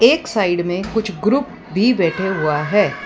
एक साइड में कुछ ग्रुप भी बैठा हुआ है।